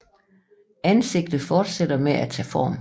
Ansigtet fortsætter med at tage form